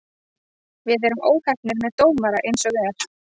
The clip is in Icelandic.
Við erum óheppnir með dómara eins og er.